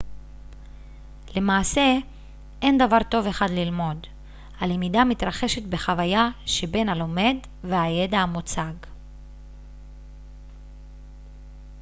למעשה אין דבר טוב אחד ללמוד הלמידה מתרחשת בחוויה שבין הלומד והידע המוצג